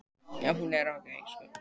Mér var ekki sagt frá því.